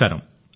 నమస్కారం